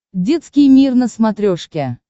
детский мир на смотрешке